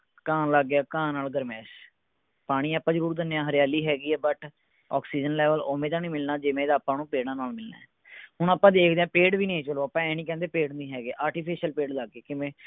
ਘਾਅ ਆਉਣ ਲੱਗ ਗਿਆ ਘਾਅ ਨਾਲ ਗਰਮਾਇਸ਼ ਪਾਣੀ ਆਪਾਂ ਜਰੂਰ ਦਿੰਦੇ ਹਾਂ ਹਰਿਆਲੀ ਹੈਗੀ ਹੈ but ਆਕਸੀਜ਼ਨ level ਓਵੇਂ ਦਾ ਨਹੀਂ ਮਿਲਣਾ ਜਿਵੇਂ ਦਾ ਪੇੜਾਂ ਨਾਲ ਮਿਲਣਾ ਹੁਣ ਆਪਾਂ ਦੇਖਦੇ ਹਾਂ ਪੇੜ ਵੀ ਨਹੀਂ ਹੈ ਚਲੋ ਆਪਾਂ ਇਹ ਨਹੀਂ ਕਹਿੰਦੇ ਵੀ ਪੇੜ ਨਹੀਂ ਹੈ ਗੇ artificial ਪੇੜ ਲੱਗ ਗਏ ਕਿਵੇਂ।